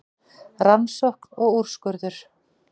Rannsókn og úrskurður